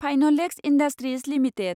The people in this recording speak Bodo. Finolex industries limited